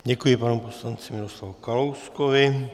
Děkuji panu poslanci Miroslavu Kalouskovi.